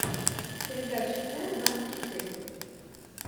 передача т двадцать четыре